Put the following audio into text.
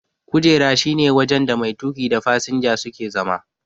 kujera shi ne wajen da mai tuki da fasinja suke zama.